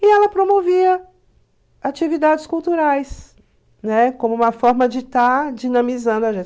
E ela promovia atividades culturais, ne, como uma forma de estar dinamizando